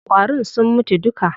Ƙwarin sun mutu duka.